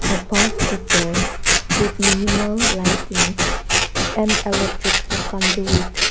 above the door with minimal lighting and electrical .